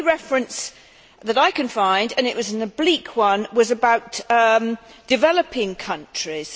The only reference that I can find, and it was an oblique one, was about developing countries.